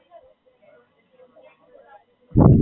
કેવું છે ત્યાં ફરવાનું બધુ?